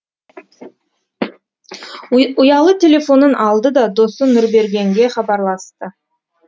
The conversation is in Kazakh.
ұялы телефонын алды да досы нұрбергенге хабарласты